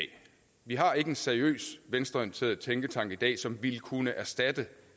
vi har ikke en seriøs venstreorienteret tænketank i dag som ville kunne erstatte